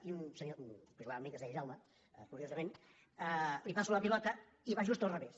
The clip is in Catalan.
i a un senyor que jugava amb mi que es deia jaume curiosament li passo la pilota i va just al revés